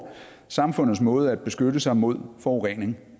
samfundets måde at beskytte sig mod forurening